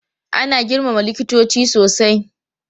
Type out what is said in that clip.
Ana girmama likitoci sosai.